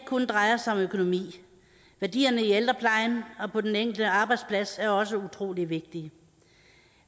kun drejer sig om økonomi værdierne i ældreplejen og på den enkelte arbejdsplads er også utrolig vigtige